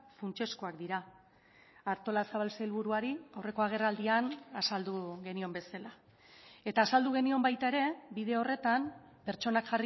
funtsezkoak dira artolazabal sailburuari aurreko agerraldian azaldu genion bezala eta azaldu genion baita ere bide horretan pertsonak